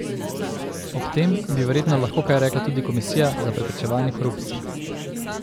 O tem bi verjetno lahko kaj rekla tudi komisija za preprečevanje korupcije.